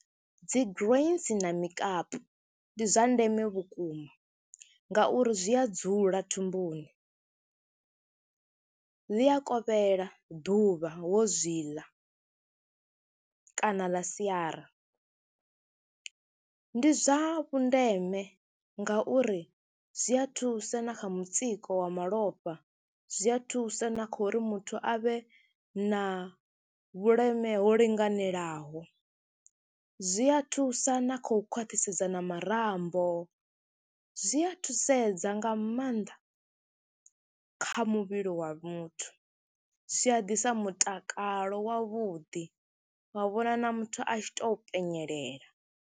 Dzi grains na mikapu ndi zwa ndeme vhukuma ngauri zwi a dzula thumbuni, ḽi a kovhela ḓuvha wo zwi ḽa kana ḽa siara. Ndi zwa vhundeme ngauri zwi a thusa na kha mutsiko wa malofha, zwi a thusa na kha uri muthu a vhe na vhuleme ho linganelaho, zwi a thusa na khou khwathisedza na marambo, zwi a thusedza nga maanḓa kha muvhili wa muthu. Zwi a ḓisa mutakalo wavhuḓi wa vhona na muthu a tshi tou penyelela.